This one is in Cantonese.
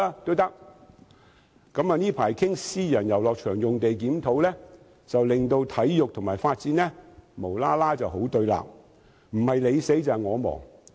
最近有關檢討私人遊樂場地契約的討論令體育及發展無故變得對立，好像不是你死就是我亡般。